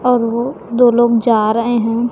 और वो दो लोग जा रहे हैं।